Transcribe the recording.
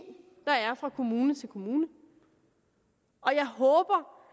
der er fra kommune til kommune og jeg håber